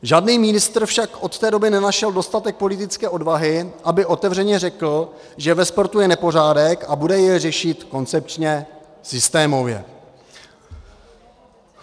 Žádný ministr však od té doby nenašel dostatek politické odvahy, aby otevřeně řekl, že ve sportu je nepořádek, a bude jej řešit koncepčně, systémově.